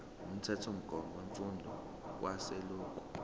umthethomgomo wemfundo kazwelonke